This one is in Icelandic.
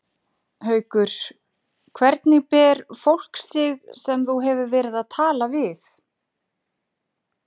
Haukur: Hvernig ber fólk sig sem þú hefur verið að tala við?